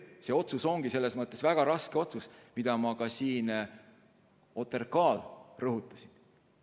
See ongi väga raske otsus, nagu ma ka OTRK arutelul rõhutasin.